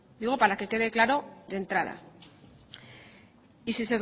digo para que quede claro de entrada y si